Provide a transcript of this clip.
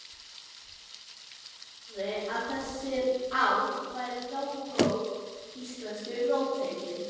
Því fór fjarri að þessi ár væru góð íslenskri róttækni.